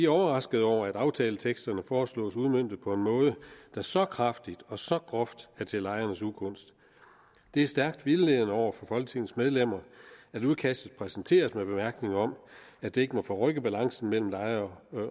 overrasket over at aftaleteksterne foreslås udmøntet på en måde der så kraftigt og så groft er til lejernes ugunst det er stærkt vildledende over for folketingets medlemmer at udkastet præsenteres med bemærkningen om at det ikke må forrykke balancen mellem lejer